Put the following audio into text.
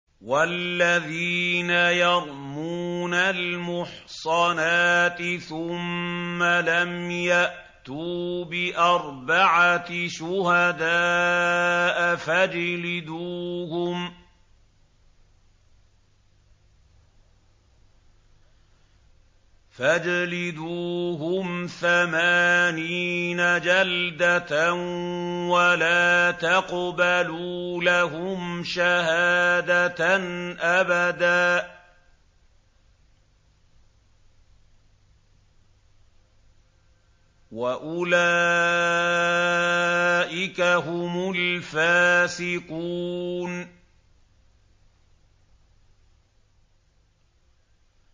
وَالَّذِينَ يَرْمُونَ الْمُحْصَنَاتِ ثُمَّ لَمْ يَأْتُوا بِأَرْبَعَةِ شُهَدَاءَ فَاجْلِدُوهُمْ ثَمَانِينَ جَلْدَةً وَلَا تَقْبَلُوا لَهُمْ شَهَادَةً أَبَدًا ۚ وَأُولَٰئِكَ هُمُ الْفَاسِقُونَ